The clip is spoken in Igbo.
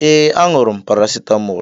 Yes, aṅụrụ m paracetamol